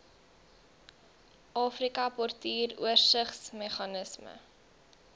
afrika portuur oorsigsmeganisme